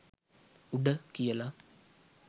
“උඩ” කියලා.